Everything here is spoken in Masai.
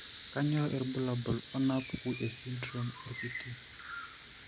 Kainyio irbulabul onaapuku esindirom orkiti.